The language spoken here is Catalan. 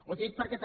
ho dic perquè també